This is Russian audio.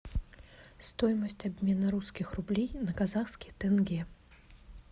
стоимость обмена русских рублей на казахские тенге